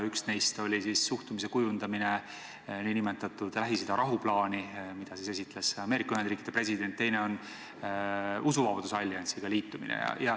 Üks neist oli, kui tuli kujundada suhtumine nn Lähis-Ida rahuplaani, mida esitles Ameerika Ühendriikide president, teine on usuvabaduse alliansiga liitumine.